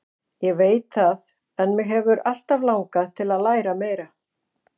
Ég veit það en mig hefur alltaf langað til að læra meira.